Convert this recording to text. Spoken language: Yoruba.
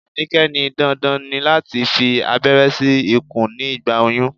Anike ní dandan ni láti fi aberé sí ikùn ní ìgbà oyún.